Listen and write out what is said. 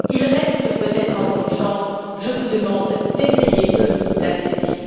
Il reste peut être encore une chance, je vous demande d'essayer de la saisir.